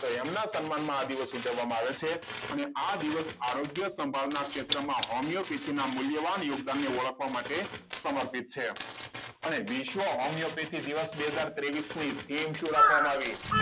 તો એમના સન્માનમાં આ દિવસ ઉજવવામાં આવે છે અને આ દિવસ આરોગ્ય સાંભળનાર ક્ષેત્રોમાં હોમિયોપેથીકના મૂલ્યવાન યુક્ત તેમને ઓળખવા માટે સમર્પિત છે અને વિશ્વ હોમિયોપેથીક દિવસ બે હજાર ત્રેવિસ ની theme શું રાખવામાં આવે